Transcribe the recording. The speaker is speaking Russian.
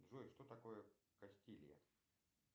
джой что такое кастилия